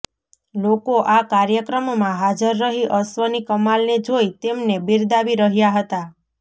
લોકો આ કાર્યક્રમમાં હાજર રહી અશ્વની કમાલને જોઈ તેમને બીરદાવી રહ્યા હતા